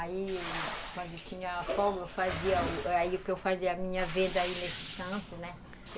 Aí, quando tinha folga, eu fazia aí o que eu fazia a minha venda aí nesse canto, né?